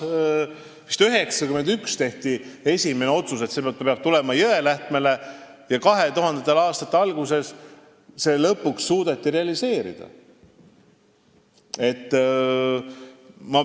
Vist 1991 tehti esimene otsus, et see peab tulema Jõelähtmele, ja 2000. aastate alguses suudeti see lõpuks realiseerida.